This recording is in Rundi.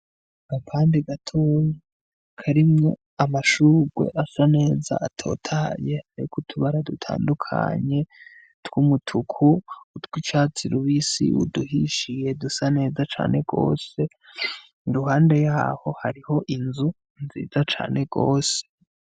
Agapande gatoyi karimwo amashurwe asa neza atotahaye ariko utubara dutandukanye tw’umutuku, utw’icatsi rubisi , uduhishiye dusa neza cane gose , iruhande yaho hariho inzu nziza cane gose.